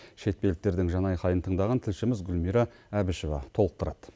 шетпеліктердің жан айқайын тыңдаған тілшіміз гүлмира әбішева толықтырады